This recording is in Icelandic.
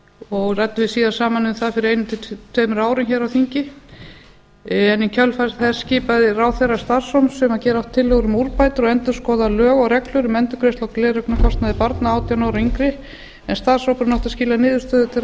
og ræddum við síðast saman um það fyrir einu til tveimur árum hér á þingi en í kjölfar þess skipaði ráðherra starfshóp sem gera átti tillögur um úrbætur og endurskoða lög og reglur um endurgreiðslu á gleraugnakostnaði barna átján ára og yngri en starfshópurinn átti að skila niðurstöðu til